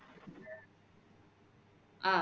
அஹ்